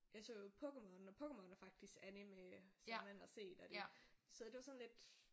Jeg så jo Pokémon og Pokémon er faktisk anime som man har set og det så det var sådan lidt